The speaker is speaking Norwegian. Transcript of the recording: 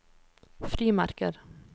frimerker